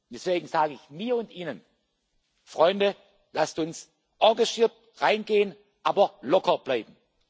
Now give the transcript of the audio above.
Deswegen sage ich mir und Ihnen Freunde, lasst uns engagiert reingehen, aber locker bleiben.